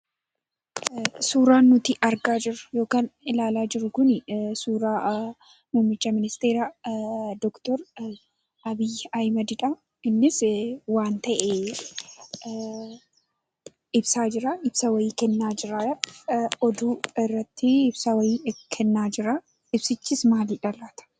Suuraan nuti argaa jirru yokaan ilaalaa jirru kunii suuraa muummicha ministeera Doktor Abiy Ahmedidhaa. Innisi waan ta'ee ibsaa jiraa. Ibsa wayii kennaa jiraa. oduu irrattii ibsa wayii kennaa jiraa. Ibsichis maalidha laata?